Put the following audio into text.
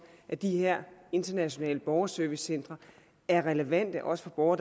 at de her internationale borgerservicecentre er relevante også for borgere